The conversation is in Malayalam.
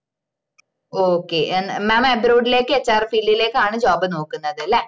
okay mamabroad ലേക്ക് hrfield ലേക്കാണ് job നോക്കുന്നത് ലെ